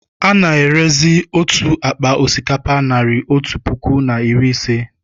Ana-erezi otu akpa osikapa naịra otú puku na iri ise.